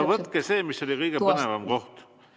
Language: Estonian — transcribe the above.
No võtke sealt, mis oli kõige põnevam koht.